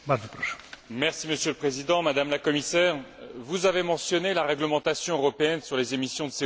Monsieur le Président, Madame la Commissaire, vous avez mentionné la réglementation européenne sur les émissions de CO des voitures.